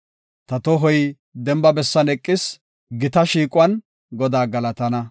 Ta tohoy demba bessan eqis; gita shiiquwan Godaa galatana.